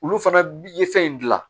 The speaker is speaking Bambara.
Olu fana ye fɛn in dilan